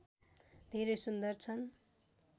धेरै सुन्दर छन्